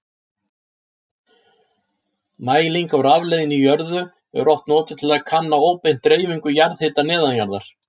Mæling á rafleiðni í jörðu er oft notuð til að kanna óbeint dreifingu jarðhita neðanjarðar.